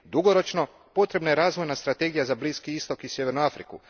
Dugoročno, potrebna je razvojna strategija za Bliski istok i sjevernu Afriku.